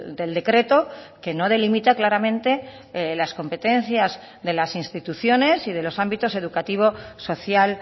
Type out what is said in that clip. del decreto que no delimita claramente las competencias de las instituciones y de los ámbitos educativo social